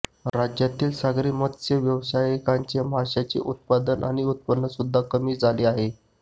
राज्यातील सागरी मत्स्य व्यावसायिकांचे माशांचे उत्पादन आणि उत्पन्न सुद्धा कमी झाले आहे